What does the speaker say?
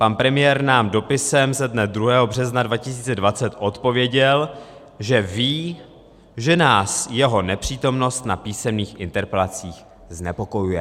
Pan premiér nám dopisem ze dne 2. března 2020 odpověděl, že ví, že nás jeho nepřítomnost na písemných interpelacích znepokojuje.